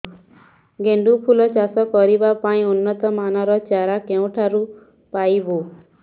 ଗେଣ୍ଡୁ ଫୁଲ ଚାଷ କରିବା ପାଇଁ ଉନ୍ନତ ମାନର ଚାରା କେଉଁଠାରୁ ପାଇବୁ